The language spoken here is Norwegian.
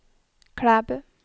Klæbu